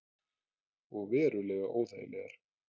Og verulega óþægilegar.